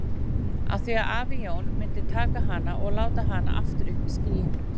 Af því að afi Jón myndi taka hana og láta hana aftur upp í skýin.